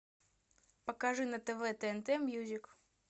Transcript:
покажи на тв тнт мьюзик